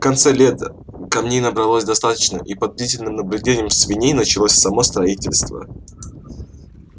в конце лета камней набралось достаточно и под бдительным наблюдением свиней началось само строительство